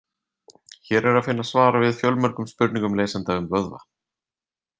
Hér er að finna svar við fjölmörgum spurningum lesenda um vöðva.